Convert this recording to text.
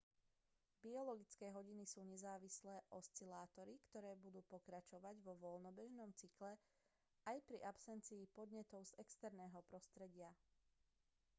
biologické hodiny sú nezávislé oscilátory ktoré budú pokračovať vo voľnobežnom cykle aj pri absencii podnetov z exerného prostredia